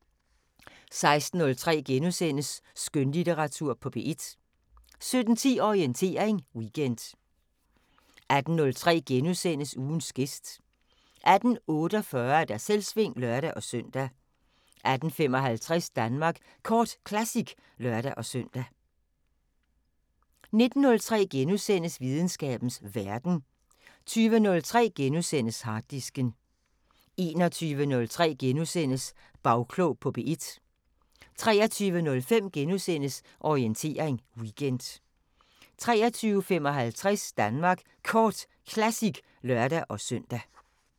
16:03: Skønlitteratur på P1 * 17:10: Orientering Weekend 18:03: Ugens gæst * 18:48: Selvsving (lør-søn) 18:55: Danmark Kort Classic (lør-søn) 19:03: Videnskabens Verden * 20:03: Harddisken * 21:03: Bagklog på P1 * 23:05: Orientering Weekend * 23:55: Danmark Kort Classic (lør-søn)